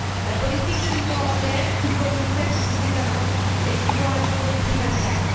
La politique de l'Union européenne, tout comme celle de ses États membres, est souvent à géométrie variable.